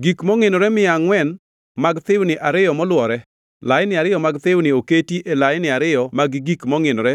gik mongʼinore mia angʼwen mag thiwni ariyo moluwore (laini ariyo mag thiwni oketi e laini ariyo mag gik mongʼinore